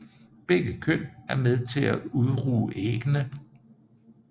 Begge køn er med til at udruge æggene